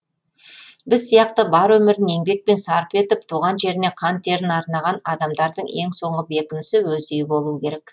біз сияқты бар өмірін еңбекпен сарп етіп туған жеріне қан терін арнаған адамдардың ең соңғы бекінісі өз үйі болуы керек